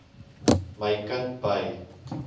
my kind by